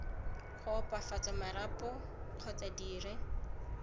go opafatsa marapo kgotsa dire